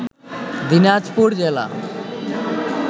দিনাজপুর জেলা